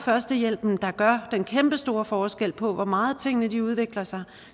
førstehjælpen der gør den kæmpestore forskel på hvor meget tingene udvikler sig